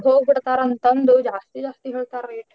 ಹೋಬಿಡ್ತಾರಂತಂದು ಜಾಸ್ತಿ ಜಾಸ್ತಿ ಹೇಳ್ತಾರ್ rate .